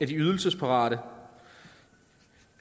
ydelsesparate